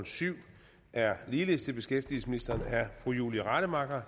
syv er ligeledes til beskæftigelsesministeren og er af fru julie rademacher